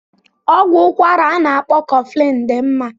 Ọgwụ ụkwara a na-akpọ koflin dị mma.